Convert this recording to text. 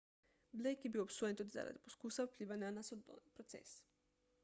blake je bil obsojen tudi zaradi poskusa vplivanja na sodni proces